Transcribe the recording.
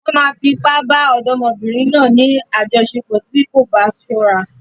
Wọ́n máa fi ipá bá ọ̀dọ́mọbìnrin náà ní àjọṣepọ̀ tí kò bá ṣọ́ra.